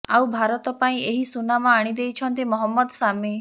ଆଉ ଭାରତ ପାଇଁ ଏହି ସୁନାମ ଆଣିଦେଇଛନ୍ତି ମହମ୍ମଦ ସାମି